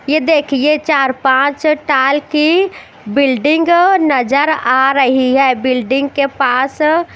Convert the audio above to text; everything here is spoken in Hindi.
ये देख ये एक चार पञ्च टाइप की बिल्डिंग नज़र आ रही है बिल्डिंग के पास --